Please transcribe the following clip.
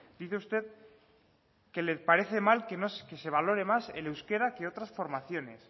dice usted que le parece mal que se valore más el euskera que otras formaciones